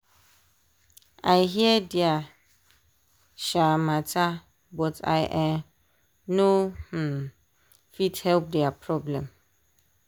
i hear dia um matter but i um no um fit help with dia problem.